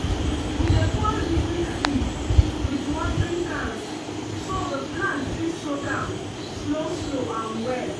we dey pour liquid feed with watering cans so the plants fit soak am slow-slow and well.